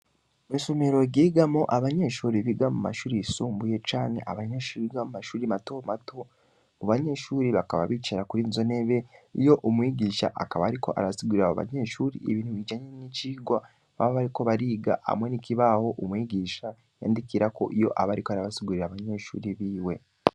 Mwisomero ryigamwo, Abanyeshure Biga mumashure yisumbuye, canke Abanyeshure Biga mumashure matomato, Abobanyesgure bakaba bicara Kwizo ntebe, iyo Umwigisha akaba ariko arasigurira Abobanyeshure ibintu bijanye nicigwa, baba bariko bariga, Hamwe nikibaho ,Umwigisha Yandikirako Abasigurira Abanyeshure biwe.